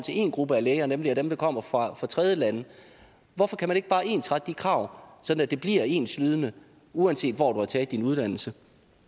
en gruppe af læger nemlig dem der kommer fra tredjelande hvorfor kan man ikke bare ensrette de krav sådan at de bliver enslydende uanset hvor du har taget din uddannelse